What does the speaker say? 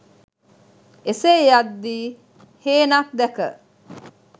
එසේ යද්දී හේනක් දැක